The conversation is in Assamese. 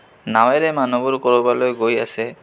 নাৱেৰে মানু্হবোৰ কৰিবলৈ গৈ আছে.